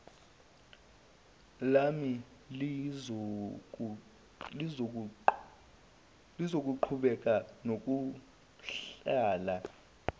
lami lizoqhubeka nokuhlela